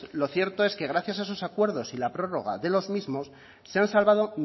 lo cierto es que gracias a esos acuerdos y la prórroga de los mismos se han salvado